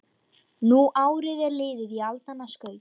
Nú árið er liðið í aldanna skaut